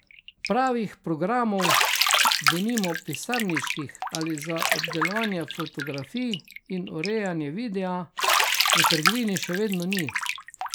Pravih programov, denimo pisarniških ali za obdelovanje fotografij in urejanje videa, v trgovini še vedno ni.